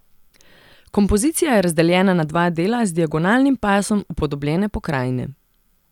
Kompozicija je razdeljena na dva dela z diagonalnim pasom upodobljene pokrajine.